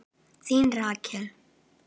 Þín Rakel.